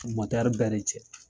bɛɛ de cɛ.